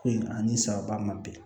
Ko ani sababa ma bɛn